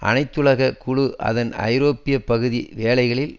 அனைத்துலக குழு அதன் ஐரோப்பிய பகுதி வேலைகளில்